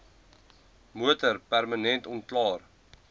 motor permanent onklaar